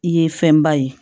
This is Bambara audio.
I ye fɛnba ye